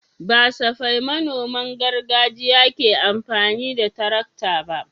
Ba safai manoman gargajiya ke amfani da tarakta ba.